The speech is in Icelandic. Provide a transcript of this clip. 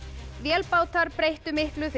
vélbátar breyttu miklu fyrir